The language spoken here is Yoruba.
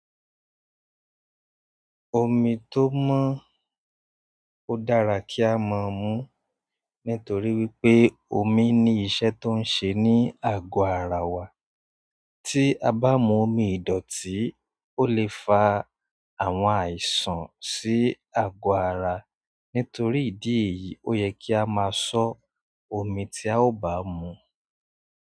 Omi tó mọ́n ó dára kí á má mú nítorí wípé omi ní ìṣe tó ń ṣe ní àgọ ara wa. Tí a bá mú omi ìdọ̀tí, ó lè fa àwọn àìsàn sí àgọ ara. Nítorí idi èyí o yẹ ki a ma sọ omi ti a o baa mu.